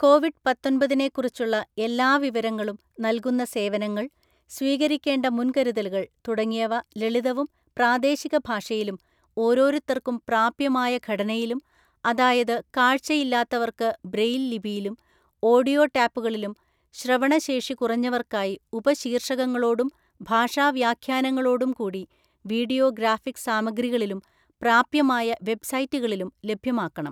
Covid പത്തൊന്‍പതിനെക്കുറിച്ചുള്ള എല്ലാ വിവരങ്ങളും, നൽകുന്ന സേവനങ്ങള്‍, സ്വീകരിക്കേണ്ട മുന്‍കരുതലുകള്‍ തുടങ്ങിയവ ലളിതവും പ്രാദേശിക ഭാഷയിലും ഓരോരുത്തർക്കും പ്രാപ്യമായ ഘടനയിലും, അതായത് കാഴ്ച്ച ഇല്ലാത്തവര്‍ക്ക് ബ്രെയ്ലി ലിപിയിലും, ഓഡിയോ ടേപ്പുകളിലും, ശ്രവണ ശേഷി കുറഞ്ഞവർക്കായി ഉപശീർഷകങ്ങളോടും ഭാഷാ വ്യഖ്യാനങ്ങളോടും കൂടി വിഡിയോ ഗ്രാഫിക് സാമഗ്രികളിലും പ്രാപ്യമായ വെബ് സൈറ്റുകളിലും ലഭ്യമാക്കണം.